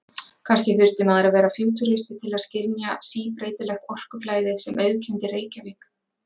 Kannski þurfti maður að vera fútúristi til að skynja síbreytilegt orkuflæðið sem auðkenndi Reykjavík.